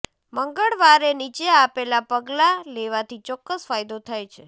મંગળવારે નીચે આપેલા પગલાં લેવાથી ચોક્કસ ફાયદો થાય છે